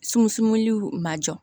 Sunsun ma jɔ